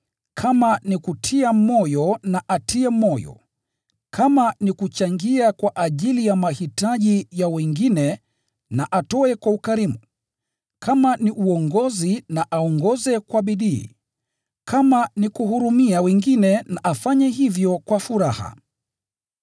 kama ni kutia moyo na atie moyo, kama ni kuchangia kwa ajili ya mahitaji ya wengine na atoe kwa ukarimu, kama ni uongozi na aongoze kwa bidii, kama ni kuhurumia wengine na afanye hivyo kwa furaha.